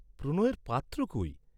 প্রণয়ের পাত্র কই?